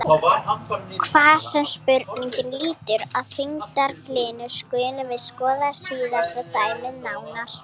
Þar sem spurningin lýtur að þyngdaraflinu skulum við skoða síðasta dæmið nánar.